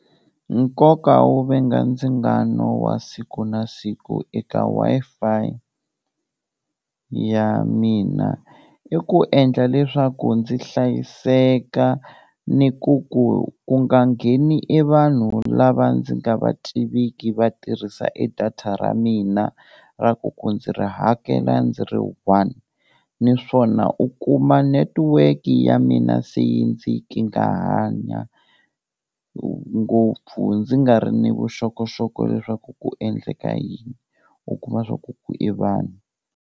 Nkoka wo venga ndzingano wa siku na siku eka Wi-Fi ya mina, i ku endla leswaku ndzi hlayiseka ni ku ku ku nga ngheni e vanhu lava ndzi nga va tiviki va tirhisa e data ra mina ra ku ku ndzi ri hakela ndzi ri one, naswona u kuma netiweke ya mina se yi ndzi kingahanya ngopfu ndzi nga ri ni vuxokoxoko leswaku ku endleka yini, u kuma swa ku ku i vanhu.